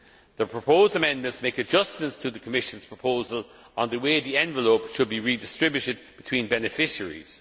The proposed amendments make adjustments to the Commission's proposal on the way the envelope should be redistributed between beneficiaries.